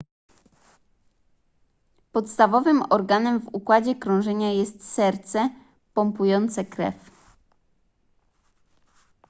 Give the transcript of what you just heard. podstawowym organem w układzie krążenia jest serce pompujące krew